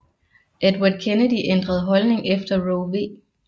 Edward Kennedy ændrede holdning efter Roe v